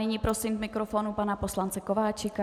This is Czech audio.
Nyní prosím k mikrofonu pana poslance Kováčika.